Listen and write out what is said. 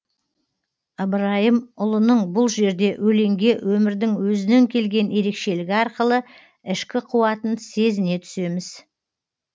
ыбырайымұлының бұл жерде өлеңге өмірдің өзінен келген ерекшелігі арқылы ішкі қуатын сезіне түсеміз